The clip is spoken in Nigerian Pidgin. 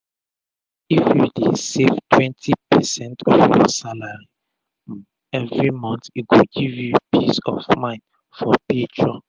if u dey um save 20 percent of ur salary um everi month e go give u peace of mind for future